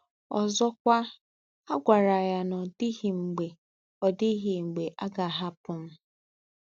Ọzọkwa, a gwara ya na ọ dịghị mgbe ọ dịghị mgbe a ga-ahapụ m.